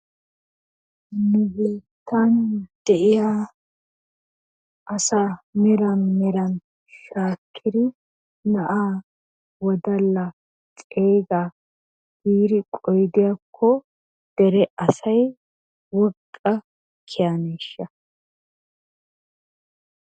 Nu biittan de'iya asaa meran meran shaakkidi na'aa, wodallaa, ceegaa giidi qoyidiyakko dere asay woqqa kiyaneeshsha?